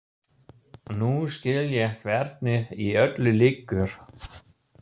Nú skil ég hvernig í öllu liggur.